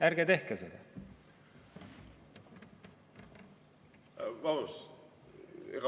Ärge tehke seda!